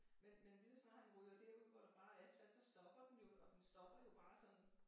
Men men lige så snart han ryger derud hvor der bare er asfalt så stopper den jo og den stopper jo bare sådan